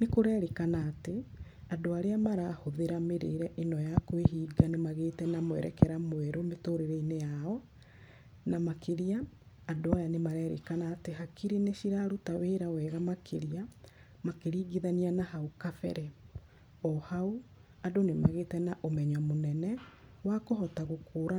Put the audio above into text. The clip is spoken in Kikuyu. Nĩ kũrerĩkana atĩ, andũ arĩa marahũthĩra mĩrĩre ĩno ya kwĩhinga nĩ magíĩte na mwerekera mwerũ mĩtũrĩre-inĩ yao, na makĩria, andũ aya nĩ marerĩkana atĩ hakiri nĩ ciraruta wĩra wega makĩria, makĩringithania na hau kabere. O hau, andũ nĩ magĩte na ũmenyo mũnene, wa kũhota gũkũrana.